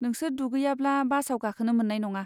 नोसोर दुगैयाब्ला बासाव गाखोनो मोन्नाय नङा।